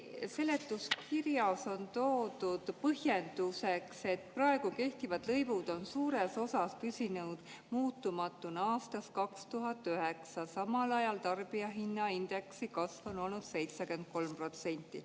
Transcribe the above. Seletuskirjas on toodud põhjenduseks: "Praegu kehtivad lõivud on suures osas püsinud muutumatuna aastast 2009, samal ajal on tarbijahinnaindeksi kasv olnud umber 73%.